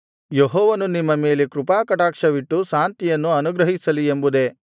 ಯೆಹೋವನು ನಿಮ್ಮ ಮೇಲೆ ಕೃಪಾಕಟಾಕ್ಷವಿಟ್ಟು ಶಾಂತಿಯನ್ನು ಅನುಗ್ರಹಿಸಲಿ ಎಂಬುದೇ